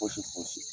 Fosi fosi